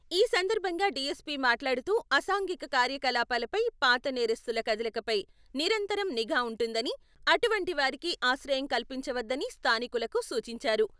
ఈ సందర్భంగా డిఎస్పీ మాట్లాడుతూ, అసాంఘిక కార్యకలాపాలపై, పాత నేరస్తుల కదలికపై నిరతరం నిఘా ఉంటుందని, అటువంటి వారికి ఆశ్రయం కల్పించవద్దని స్థానికులకు సూచించారు.